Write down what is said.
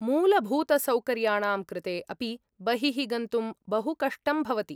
मूलभूतसौकर्याणां कृते अपि बहिः गन्तुं बहु कष्टम् भवति।